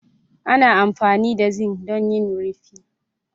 ana amfani da zinc don yin rufi